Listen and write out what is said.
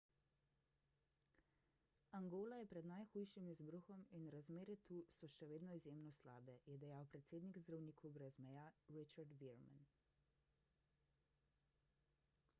angola je pred najhujšim izbruhom in razmere tu so še vedno izjemno slabe je dejal predstavnik zdravnikov brez meja richard veerman